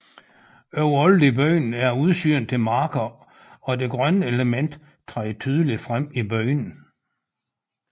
Overalt i byen er der udsyn til marker og det grønne element træder tydeligt frem i byen